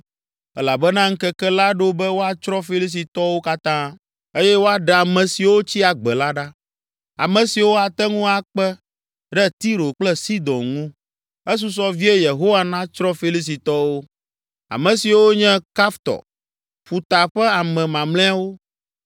elabena ŋkeke la ɖo be woatsrɔ̃ Filistitɔwo katã, eye woaɖe ame siwo tsi agbe la ɖa, ame siwo ate ŋu akpe ɖe Tiro kple Sidon ŋu. Esusɔ vie Yehowa natsrɔ̃ Filistitɔwo, ame siwo nye Kaftor ƒuta ƒe ame mamlɛawo.